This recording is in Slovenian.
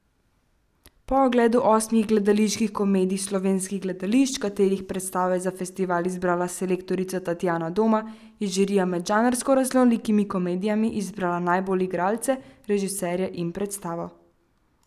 Po ogledu osmih gledaliških komedij slovenskih gledališč, katerih predstave je za festival izbrala selektorica Tatjana Doma, je žirija med žanrsko raznolikimi komedijami izbrala najbolje igralce, režiserja in predstavo.